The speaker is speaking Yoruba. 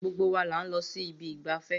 Gbogbo wa là ń lọ sí ibi ìgbafẹ́